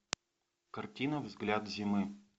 картина взгляд зимы